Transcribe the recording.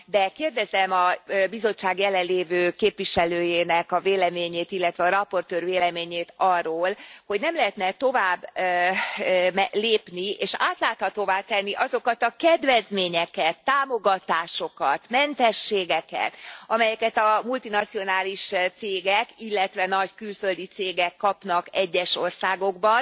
De kérdezem a Bizottság jelenlévő képviselőjének a véleményét, illetve az előadó véleményét arról, hogy nem lehetne e továbblépni, és átláthatóvá tenni azokat a kedvezményeket, támogatásokat, mentességeket, amelyeket a multinacionális cégek, illetve nagy külföldi cégek kapnak egyes országokban.